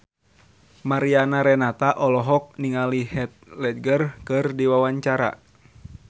Mariana Renata olohok ningali Heath Ledger keur diwawancara